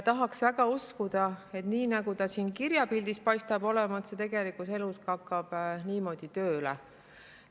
Tahaks väga uskuda, et nii nagu ta siin kirja on pandud, hakkab see ka tegelikus elus tööle.